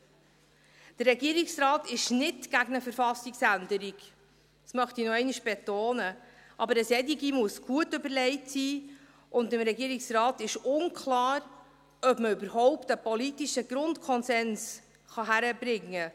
Der Regierungsrat ist nicht gegen eine Verfassungsänderung, dies möchte ich nochmals betonen, aber eine solche muss gut überlegt sein, und dem Regierungsrat ist unklar, ob man überhaupt einen politischen Grundkonsens hinkriegen kann.